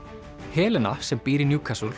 Helena sem býr í